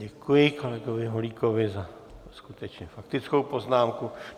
Děkuji kolegovi Holíkovi za skutečně faktickou poznámku.